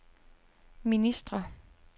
ministre